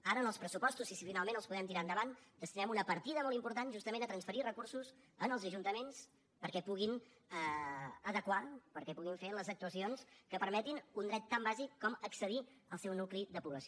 ara en els pressupostos si finalment els podem tirar endavant destinem una partida molt important justament a transferir recursos als ajuntaments perquè puguin adequar perquè puguin fer les actuacions que permetin un dret tan bàsic com accedir al seu nucli de població